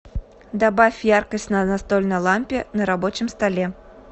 добавь яркость на настольной лампе на рабочем столе